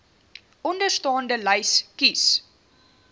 onderstaande lys kies